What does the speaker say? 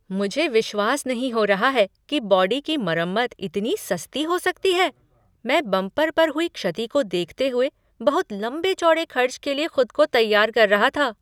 मुझे विश्वास नहीं हो रहा है कि बॉडी की मरम्मत इतनी सस्ती हो सकती है! मैं बंपर पर हुई क्षति को देखते हुए बहुत लंबे चौड़े खर्च के लिए खुद को तैयार कर रहा था।